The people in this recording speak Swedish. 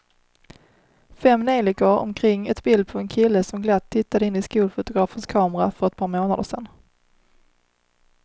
Fem neljikor omkring ett bild på en kille som glatt tittade in i skolfotografens kamera för ett par månader sedan.